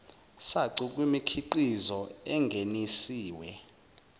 sacu kwimikhiqizo engeniswe